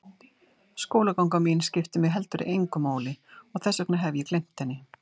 Skólaganga mín skiptir mig heldur engu máli og þess vegna hef ég gleymt henni.